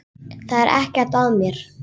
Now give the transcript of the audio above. Það er ekkert að mér.